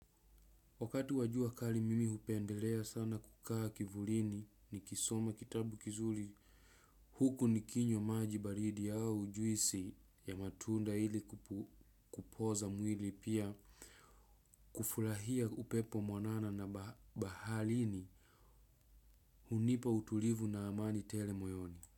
Wakati wajua kali mimi upendelea sana kukaa kivulini ni kisoma kitabu kizuli huku nikinywa majibaridi au ujuisi ya matunda hili kupoza mwili pia kufulahia upepo mwanana na bahalini hunipa utulivu na amani tele moyoni.